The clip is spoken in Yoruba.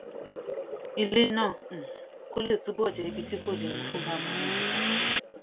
ilé náà um kó lè túbò jé ibi tí kò léwu fún bàbá wọn àgbà